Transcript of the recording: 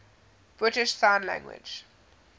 british sign language